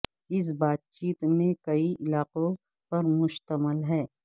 اس بات چیت میں کئی علاقوں پر مشتمل ہے